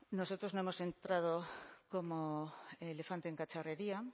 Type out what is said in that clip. nosotros no hemos entrado como elefante en cacharrería